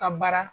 Ka baara